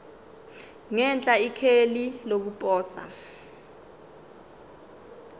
ngenhla ikheli lokuposa